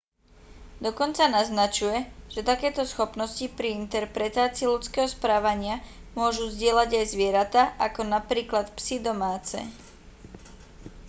dokonca naznačuje že takéto schopnosti pri interpretácii ľudského správania môžu zdieľať aj zvieratá ako napríklad psy domáce